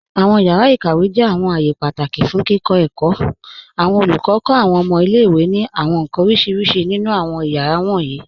Awọn yàra ikàwé jẹ́ awọn ààyè pátákì fún kíkọ èkó. Awọn olùkọ kọ awọn ọ̀mọ̀ ilẹ̀-ìwé ni awọn nkan orísíríṣí nínu awọn ẹ̀yàra wọnyí.